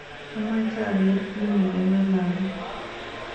Amache ageer kiit negingololen